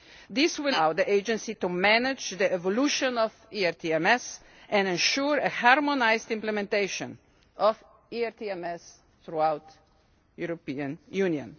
This will allow the Agency to manage the evolution of ERTMS and ensure a harmonised implementation of ERTMS throughout the European Union.